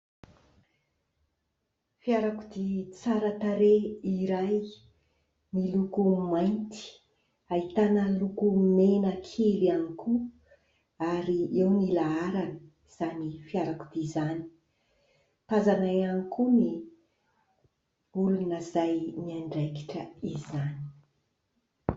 Fiarakodia tsara tarehy iray miloko mainty, ahitana loko mena kely ihany koa ary eo ny laharan'izany fiarakodia izany. Tazana ihany koa ny olona izay miandraikitra izany.